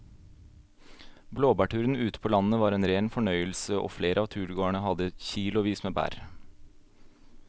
Blåbærturen ute på landet var en rein fornøyelse og flere av turgåerene hadde kilosvis med bær.